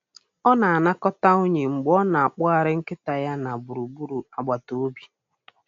Ọ na-anakọta unyi mgbe ọ na-akpọgharị nkịta ya na gburugburu agbata obi.